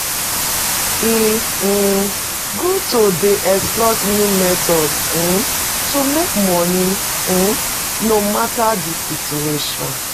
E um good to dey explore new methods um to make money, um no matter di situation.